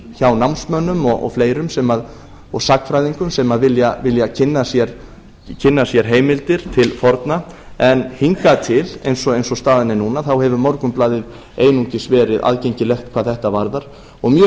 hjá námsmönnum og fleirum og sagnfræðingum sem vilja kynna sér heimildir til forna en hingað til eins og staðan er núna hefur morgunblaðið einungis verið aðgengilegt hvað þetta varðar og mjög